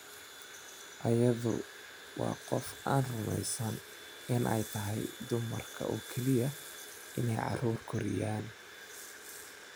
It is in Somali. "Iyadu waa qof aan rumaysnayn in ay tahay dumarka oo keliya inay carruur koriyaan."